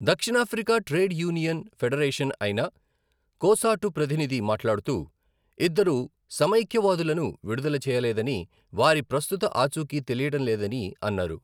దక్షిణాఫ్రికా trade union federation అయిన COSATU ప్రతినిధి మాట్లాడుతూ, ఇద్దరు సమైక్యవాదులను విడుదల చేయలేదని, వారి ప్రస్తుత ఆచూకీ తెలియడం లేదని అన్నారు.